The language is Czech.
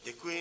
Děkuji.